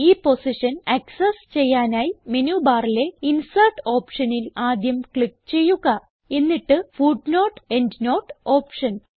ഈ position access ചെയ്യാനായി menu ബാറിലെ ഇൻസെർട്ട് ഓപ്ഷനിൽ ആദ്യം ക്ലിക്ക് ചെയ്യുക എന്നിട്ട് footnoteഎൻഡ്നോട്ട് ഓപ്ഷൻ